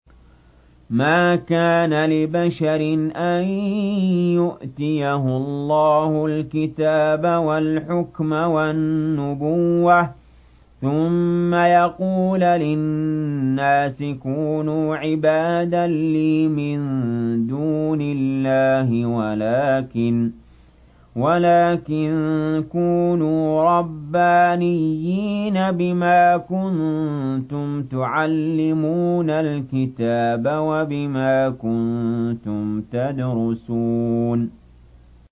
مَا كَانَ لِبَشَرٍ أَن يُؤْتِيَهُ اللَّهُ الْكِتَابَ وَالْحُكْمَ وَالنُّبُوَّةَ ثُمَّ يَقُولَ لِلنَّاسِ كُونُوا عِبَادًا لِّي مِن دُونِ اللَّهِ وَلَٰكِن كُونُوا رَبَّانِيِّينَ بِمَا كُنتُمْ تُعَلِّمُونَ الْكِتَابَ وَبِمَا كُنتُمْ تَدْرُسُونَ